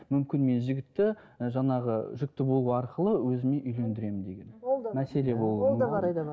мүмкін мен жігітті і жаңағы жүкті болу арқылы өзіме үйлендіремін деген ол да мәселе